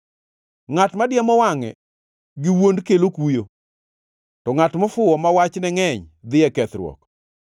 Ngʼat madiemo wangʼe giwuond kelo kuyo, to ngʼat mofuwo ma wachne ngʼeny dhi e kethruok.